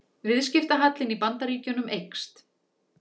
Það var allt á suðupunkti í aðgerðaherberginu.